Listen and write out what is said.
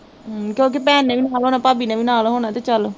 ਹਮ ਕਿਓਕਿ ਭੈਣ ਨੇ ਵੀ ਨਾਲ਼ ਹੋਣਾ, ਭਾਬੀ ਨੇ ਵੀ ਨਾਲ਼ ਹੋਣਾ ਤੇ ਚੱਲ